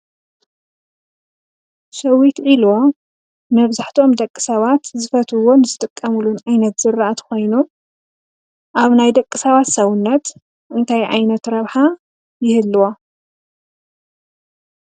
ሸዊት ዒልቦ መብዛሕትኦም ደቂሰባት ዝፈትውዎን ዝጥቀምሉን ዓይነት ዝራእቲ ኮይኑ ኣብ ናይ ደቂሰባት ሰዉነት እንታይ ዓይነት ረብሓ ይህልዎ ?